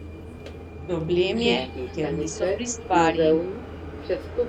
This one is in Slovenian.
Problem je, ker niso pri stvari.